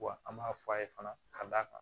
Wa an b'a f'a ye fana ka d'a kan